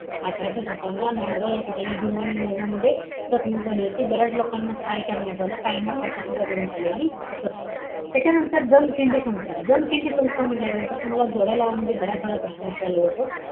अठराशे सत्तावन्न ला, नांदगाव, या ठिकाणी, भिल्ल आणि इंग्रजांमध्ये चकमक झाली होती. बऱ्याच लोकांना ठार करण्यात आलं. काहींना फाशीसुद्धा देण्यात आलेली होती. त्याच्यानंतर, जमखिंडी संस्थान, जमखिंडी संस्थान म्हण्टल्यानंतर तुम्हाला जोड्या लावा मध्ये बऱ्याच वेळा प्रश्न विचारला जातो.